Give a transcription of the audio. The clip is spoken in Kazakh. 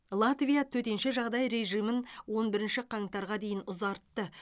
латвия төтенше жағдай режимін он бірінші қаңтарға дейін ұзартты